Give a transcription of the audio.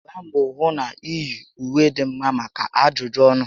Gbaa mbọ hụ na iyi ùwé dị mma maka ajụjụ ọnụ